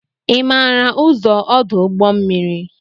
Ị maara ụzọ ọdụ ụgbọ mmiri